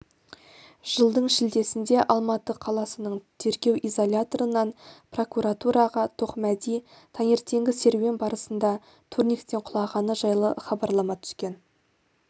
жылдың шілдесінде алматы қаласының тергеу изоляторынан прокуратураға тоқмәди таңертенгі серуен барысында турниктен құлағаны жайлы хабарлама түскен